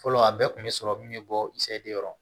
Fɔlɔ a bɛɛ kun bɛ sɔrɔ min bɛ bɔ isɛdekɔrɔ